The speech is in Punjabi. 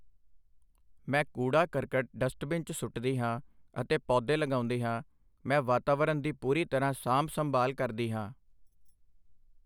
ਮੈਂ ਕੂੜਾ ਕਰਕਟ ਡਸਟਬਿਨ 'ਚ ਸੁੱਟਦੀ ਹਾਂ ਅਤੇ ਪੌਦੇ ਲਗਾਉਂਦੀ ਹਾਂ ਮੈਂ ਵਾਤਾਵਰਨ ਦੀ ਪੂਰੀ ਤਰ੍ਹਾਂ ਸਾਂਭ ਸੰਭਾਲ ਕਰਦੀ ਹਾਂ